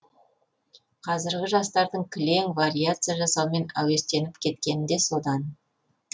қазіргі жастардың кілең вариация жасаумен әуестеніп кеткені де содан